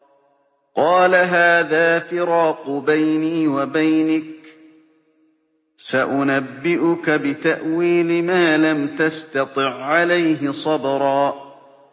قَالَ هَٰذَا فِرَاقُ بَيْنِي وَبَيْنِكَ ۚ سَأُنَبِّئُكَ بِتَأْوِيلِ مَا لَمْ تَسْتَطِع عَّلَيْهِ صَبْرًا